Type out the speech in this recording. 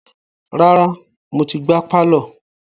Rárá, mo ti gbá pálọ̀.